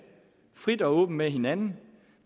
frit og åbent med hinanden